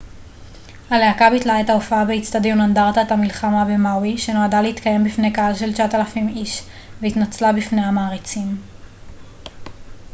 הלהקה ביטלה את ההופעה באצטדיון אנדרטת המלחמה במאווי שנועדה להתקיים בפני קהל של 9,000 איש והתנצלה בפני המעריצים